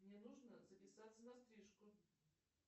мне нужно записаться на стрижку